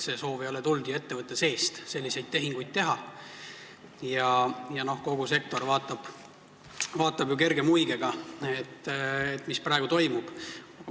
See soov selliseid tehinguid teha ei ole tulnud ettevõtte seest ja kogu sektor vaatab kerge muigega, mis praegu toimub.